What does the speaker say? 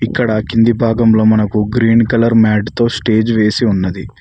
ఇక్కడ కింది భాగంలో మనకు గ్రీన్ కలర్ మ్యాట్ తో స్టేజ్ వేసి ఉన్నది.